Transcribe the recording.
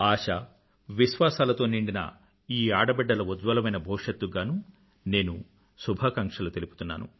ఆశవిశ్వాసాలతో నిండిన ఈ ఆడబిడ్డల ఉజ్వలమైన భవిష్యత్తుకు గానూ నేను శుభాకాంక్షలు తెలుపుతున్నాను